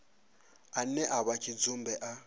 ane a vha tshidzumbe a